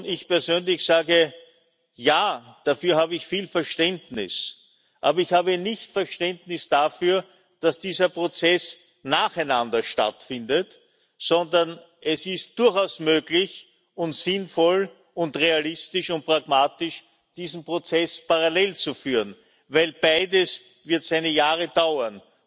Ich persönlich sage Ja, dafür habe ich viel Verständnis, aber ich habe kein Verständnis dafür, dass diese Prozesse nacheinander stattfinden, sondern es ist durchaus möglich, sinnvoll, realistisch und pragmatisch, diese Prozesse parallel zu führen, denn beides wird seine Jahre dauern.